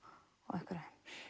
einhverju